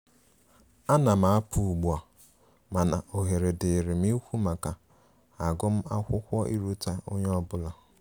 Anam apụ ụgbụ a,mana ohere dirim ikwu maka agum akwụkwo iruta onye ọbụla.